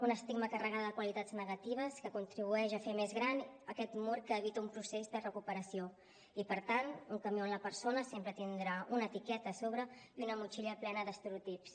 un estigma carregat de qualitats negatives que contribueix a fer més gran aquest mur que evita un procés de recuperació i per tant un camí on la persona sempre tindrà una etiqueta a sobre i una motxilla plena d’estereotips